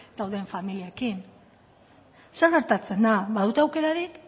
daude familiekin zer gertatzen da badute aukerarik